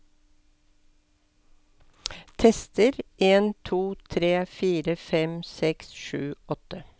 Tester en to tre fire fem seks sju åtte